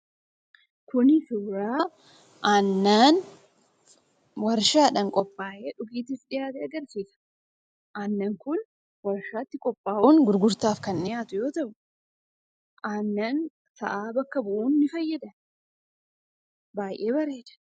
Kuni suuraa aannan warshaadhaan qophaayee dhiyaate agarsiisa. Aannan kun aannan sa'aa bakka bu'uun ni fayyada. Baay'ee bareeda.